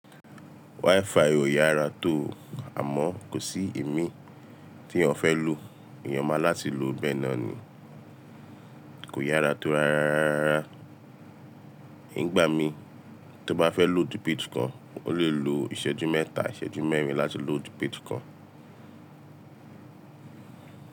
WiFi ò yára tó àmọ́ kò sí ìmí tí èèyàn fẹ́ lò. Èèyàn máa láti lò bẹ́ẹ̀ náà ni. Kò yára tó rárá. Nígbà mí tí mo bá fẹ́ lòodu page kan, mo lè lo ìṣẹ́jú mẹ́ta, ìṣẹ́jú mẹ́rin láti lòodu page kan.